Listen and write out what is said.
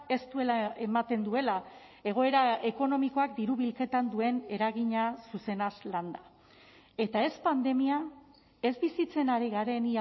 ez duela ematen duela egoera ekonomikoak diru bilketan duen eragina zuzenaz landa eta ez pandemia ez bizitzen ari garen